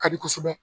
Ka di kosɛbɛ